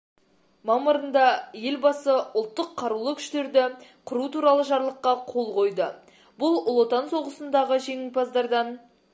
мамырында елбасы ұлттық қарулы күштерді құру туралы жарлыққа қол қойды бұл ұлы отан соғысындағы жеңімпаздардан